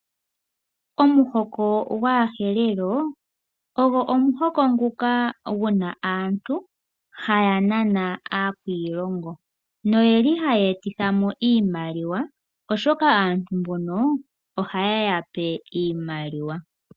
Omuhoko gwaAherero ogo omuhoko ngoka gu na aantu haya nana aakwiilongo noye li haya etithamo iimaliwa oshoka aantu mbono oha yeya pe iimaliwa.